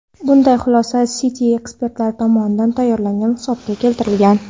Bunday xulosa Citi ekspertlari tomonidan tayyorlangan hisobotda keltirilgan.